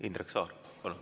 Indrek Saar, palun!